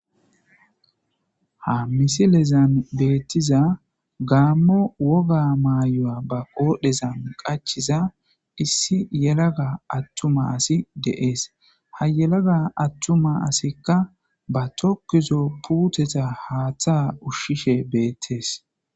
ha misilezan beettiza gaammo woga maayoya ba qoodhezan qachiza issi yelaga attuma asi deees ha yelaga attuma asikka ba tokkizo puuteta haaththa ushshishe beettees